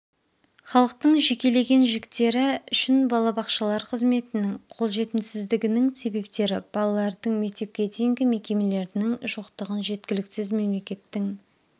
халықтың жекелеген жіктері үшін балабақшалар қызметінің қолжетімсіздігінің себептері балалардың мектепке дейінгі мекемелерінің жоқтығы жеткіліксіз мемлекеттің